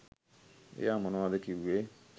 එයා මොනවද කිව්වේ